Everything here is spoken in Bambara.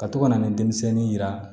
Ka to ka na ni denmisɛnnin jira